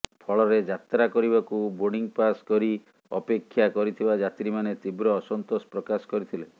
ଫଳରେ ଯାତ୍ରା କରିବାକୁ ବୋର୍ଡିଂ ପାସ ନେଇ ଅପେକ୍ଷା କରିଥିବା ଯାତ୍ରୀମାନେ ତୀବ୍ର ଅସନ୍ତୋଷ ପ୍ରକାଶ କରିଥିଲେ